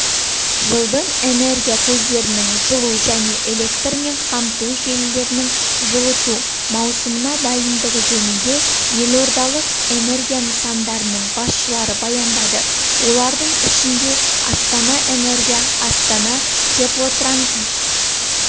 жылдың энергия көздерінің жылу және электрмен қамту желілерінің жылыту маусымына дайындығы жөнінде елордалық энергия нысандарының басшылары баяндады олардың ішінде астана-энергия астана-теплотранзит